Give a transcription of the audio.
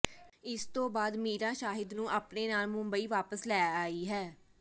ਇਸ ਤੋਂ ਬਾਅਦ ਮੀਰਾ ਸ਼ਾਹਿਦ ਨੂੰ ਆਪਣੇ ਨਾਲ ਮੁੰਬਈ ਵਾਪਸ ਲੈ ਆਈ ਹੈ